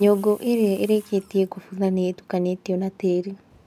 Nyũngũ ĩrĩa ĩrĩkĩtie kũbutha nĩ ĩtukanĩtio na tĩĩri